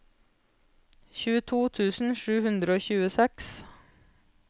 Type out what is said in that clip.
tjueto tusen sju hundre og tjueseks